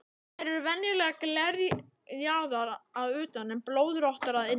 Þær eru venjulega glerjaðar að utan en blöðróttar að innan.